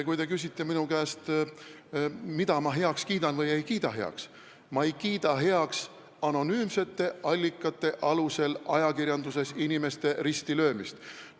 Kui te küsite minu käest, mida ma heaks kiidan või ei kiida, siis ma ei kiida heaks anonüümsete allikate alusel inimeste ajakirjanduses ristilöömist.